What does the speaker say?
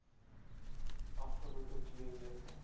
afgelope twee weke